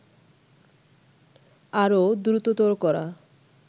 আরও দ্রুততর করা